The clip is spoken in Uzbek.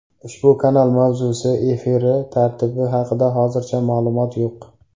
Ushbu kanal mavzusi, efiri tartibi haqida hozircha ma’lumot yo‘q.